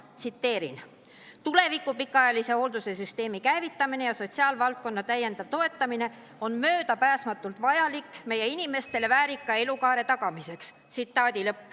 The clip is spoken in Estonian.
Tsiteerin: "Tervikliku pikaajalise hoolduse süsteemi käivitamine ja sotsiaalvaldkonna täiendav toetamine on möödapääsmatult vajalik meie inimestele väärika elukaare tagamiseks.